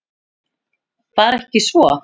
Var ekki svo?